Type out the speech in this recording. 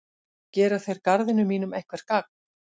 Gera þeir garðinum mínum eitthvert gagn?